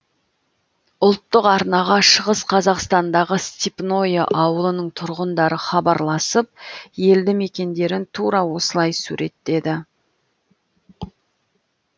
ұлттық арнаға шығыс қазақстандағы степное ауылының тұрғындары хабарласып елді мекендерін тура осылай суреттеді